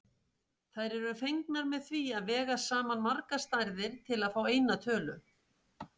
Þær eru fengnar með því að vega saman margar stærðir til að fá eina tölu.